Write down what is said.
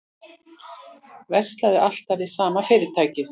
Verslaði alltaf við sama fyrirtækið